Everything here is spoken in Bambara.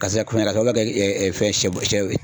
Karisa kun ya ka kɛ fɛn sɛ